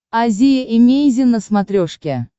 азия эмейзин на смотрешке